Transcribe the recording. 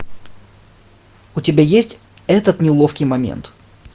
у тебя есть этот неловкий момент